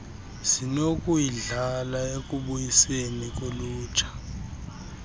zinokuyidlala ekubuyiseni kolutsha